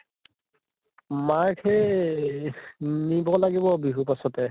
মাক সেই এহ নিব লাগিব বিহুৰ পাছতে